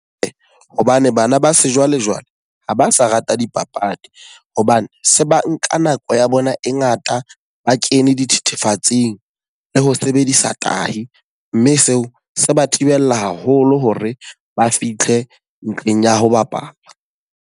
Ee, hobane bana ba sejwalejwale, ha ba sa rata dipapadi. Hobane se ba nka nako ya bona e ngata ba kene dithethefatsing le ho sebedisa tahi. Mme seo se ba thibela haholo hore ba fitlhe ntlheng ya ho bapala.